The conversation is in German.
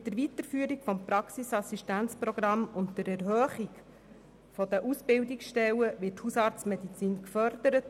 Mit der Weiterführung des Praxisassistenzprogramms und der Erhöhung der Ausbildungsstellen wird die Hausarztmedizin gefördert.